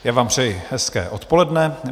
Já vám přeji hezké odpoledne.